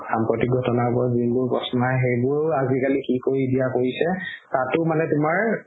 সাম্প্ৰতিক ঘটনা বোৰৰ ওপৰত যিবোৰ প্ৰশ্ন আহে সেইবোৰ আজিকালি কি কৰি দিয়া কৰিছে তাতও মানে তুমাৰ